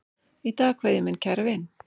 Í dag kveð ég minn kæra vin.